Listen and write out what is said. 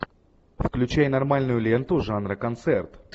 включай нормальную ленту жанра концерт